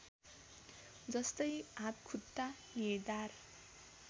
जस्तै हात खुट्टा निधार